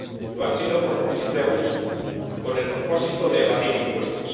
Lo han sido por posible abuso con el propósito de evadir impuestos.